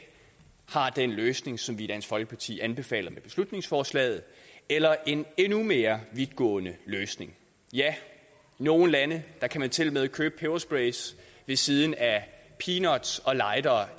har den løsning som vi i dansk folkeparti anbefaler med beslutningsforslaget eller en endnu mere vidtgående løsning ja i nogle lande kan man tilmed købe pebersprays ved siden af peanuts og lightere